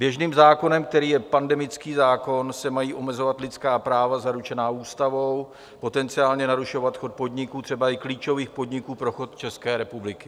Běžným zákonem, kterým je pandemický zákon, se mají omezovat lidská práva zaručená ústavou, potenciálně narušovat chod podniků, třeba i klíčových podniků pro chod České republiky.